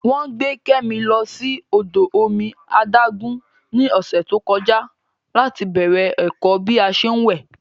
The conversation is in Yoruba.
Wọ́n gbé Kẹ́mi lọ sí odò omi adágún ní ọ̀sẹ̀ tó kọjá láti bẹ̀rẹ̀ ẹ̀kọ́ bí a ṣé ń wẹ̀